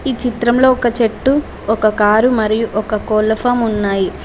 ఈ చిత్రంలో ఒక చెట్టు ఒక కారు మరియు ఒక కోళ్ల ఫామ్ ఉన్నాయి.